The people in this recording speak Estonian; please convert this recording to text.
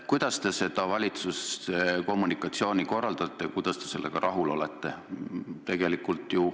Kuidas te valitsuse kommunikatsiooni korraldate ja kuidas te sellega rahul olete?